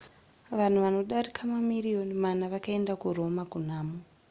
vanhu vanodarika mamiriyoni mana vakaenda kuroma kunhamo